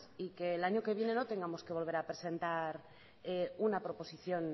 y que el año que viene no tengamos que volver a presentar una proposición